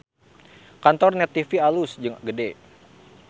Kantor Net TV alus jeung gede